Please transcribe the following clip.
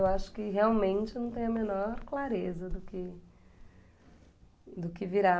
Eu acho que realmente não tem a menor clareza do que do que virá.